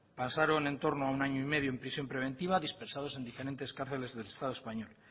pasaron entorno a un año y medio en prisión preventiva dispersados en diferentes cárceles del estado español